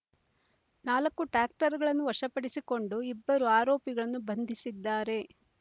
ನಾಲ್ಕು ಟ್ರ್ಯಾಕ್ಟರ್‌‌ಗಳನ್ನು ವಶಪಡಿಸಿಕೊಂಡು ಇಬ್ಬರು ಆರೋಪಿಗಳನ್ನು ಬಂಧಿಸಿದ್ದಾರೆ